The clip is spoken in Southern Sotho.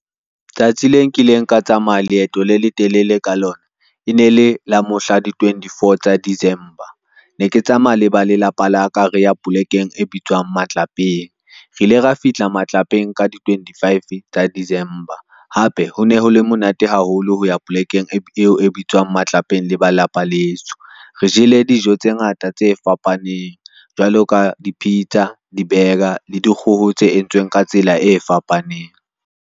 Tsatsi le nkileng ka tsamaya leeto le letelele ka lona e nele la mohla di-twentyfour tsa December. Ne ke tsamaya le ba lelapa la ka, re ya polekeng e bitswang matlapeng, re ile ra fihla matlapeng ka di-twentyfive tsa December. Hape ho ne hole monate haholo ho ya polekeng eo e bitswang matlapeng le ba lapa leso. Re jele dijo tse ngata tse fapaneng jwalo ka di-pizza, di-burger le dikgoho tse entsweng ka tsela e fapaneng.